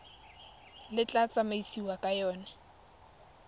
le tla tsamaisiwang ka yona